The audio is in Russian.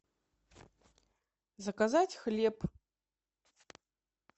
заказать хлеб